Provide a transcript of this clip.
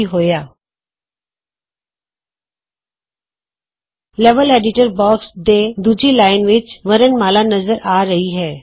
ਕੀ ਹੋਇਆ160 level editor box ਦੇ ਦੂਜੀ ਲਾਈਨ ਵਿਚ ਵਰਣਮਾਲਾ ਨਜ਼ਰ ਆ ਰਹੀ ਹੈ